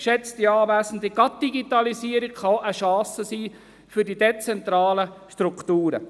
Geschätzte Anwesende: Die Digitalisierung kann auch eine Chance sein für die dezentralen Strukturen.